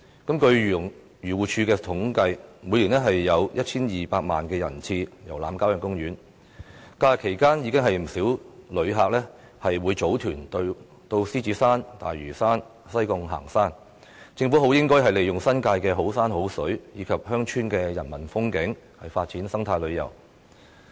根據漁農自然護理署的統計，每年有 1,200 萬人次遊覽郊野公園，在假日期間，不少旅客會組團到獅子山、大嶼山或西貢行山，政府應該利用新界的好山好水和鄉村的人文風景，發展生態旅遊。